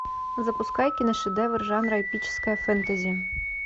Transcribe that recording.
запускай киношедевр жанра эпическое фэнтези